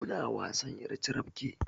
Muna wasan ƴar carabke